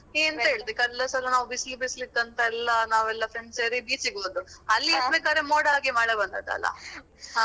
ನೀ ಎಂತ ಹೇಳ್ತಿ ಕಲ್ದ ಸಲ ನಾವು ಬಿಸ್ಲು ಬಿಸ್ಲು ಇತ್ತಂತೆಲ್ಲಾ ನಾವೆಲ್ಲಾ friends ಸೇರಿ beach ಗೆ ಹೋದದ್ದು. ಅಲ್ಲಿ ಮುಟ್ಬೇಕಾದ್ರೆ ಮೋಡ ಆಗಿ ಮಳೆ ಬಂದದ್ದಲ್ಲಾ.